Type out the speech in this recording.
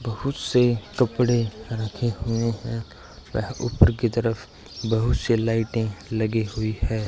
बहुत से कपड़े रखे हुए हैं वह ऊपर की तरफ बहुत से लाइटें लगी हुई है।